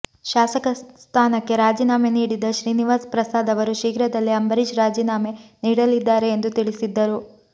ಶಾಸಕ ಸ್ಥಾನಕ್ಕೆ ರಾಜೀನಾಮೆ ನೀಡಿದ್ದ ಶ್ರೀನಿವಾಸ್ ಪ್ರಸಾದ್ ಅವರು ಶೀಘ್ರದಲ್ಲೇ ಅಂಬರೀಷ್ ರಾಜೀನಾಮೆ ನೀಡಲಿದ್ದಾರೆ ಎಂದು ತಿಳಿಸಿದ್ದರು